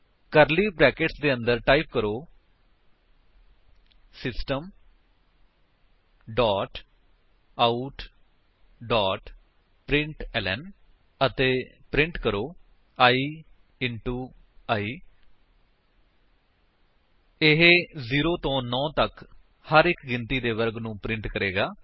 ਕਰਲੀ brackets ਦੇ ਅੰਦਰ type ਕਰੋ system dot out dot println ਅਤੇ ਪ੍ਰਿੰਟ ਕਰੋ i ਇੰਟੋ i ਇਹ 0 ਤੋ 9 ਤੱਕ ਹਰ ਇੱਕ ਗਿਣਤੀ ਦੇ ਵਰਗ ਨੂੰ ਪ੍ਰਿੰਟ ਕਰੇਗਾ